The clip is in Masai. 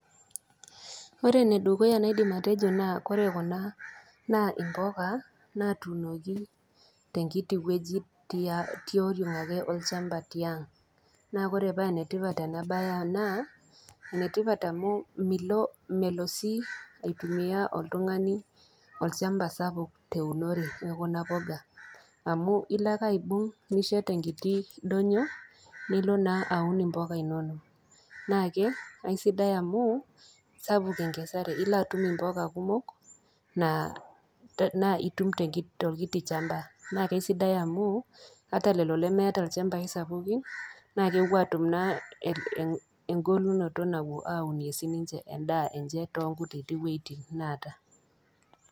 Ore enedukuya naidim atejo naa ore kuna naa imboka natuunoki tenkiti wueji, tioriong olchamba ake tiang. Naa ore paa enetipat ena bae naa enetipat amu, milo melo sii aitumia oltung'ani olchamba sapuk teunore ekuna poka. Amu ilo ake aibung', nishet enkiti doinyo nilo naa aun impoka inono. Naake aisidai amu sapuk enkesare, ilo atum impoka kumok naa, naa itum tolkiti shamba naa aisidai amu ata lelo lemeeta ilchambai sapuki naa ewuo atum naa engolunoto nawuo aunie siininche endaa enche tonkutiti wuejitin naata.